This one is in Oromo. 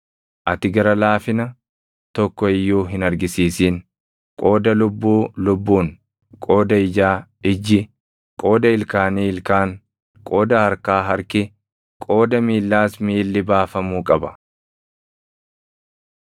Ati gara laafina tokko iyyuu hin argisiisin; qooda lubbuu lubbuun, qooda ijaa ijji, qooda ilkaanii ilkaan, qooda harkaa harki, qooda miillaas miilli baafamuu qaba.